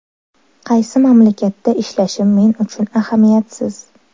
Qaysi mamlakatda ishlashim men uchun ahamiyatsiz.